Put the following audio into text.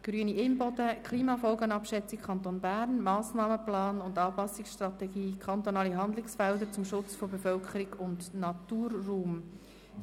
«Grüne [Imboden, Bern] Klimafolgenabschätzung Kanton Bern: Massnahmenplan und Anpassungsstrategie: kantonale Handlungsfelder zum Schutz von Bevölkerung und Naturraum».